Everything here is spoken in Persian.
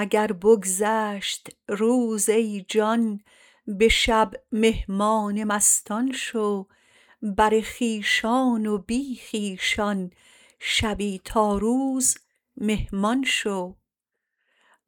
اگر بگذشت روز ای جان به شب مهمان مستان شو بر خویشان و بی خویشان شبی تا روز مهمان شو